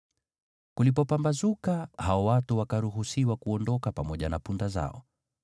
Kulipopambazuka, hao watu wakaruhusiwa kuondoka pamoja na punda zao.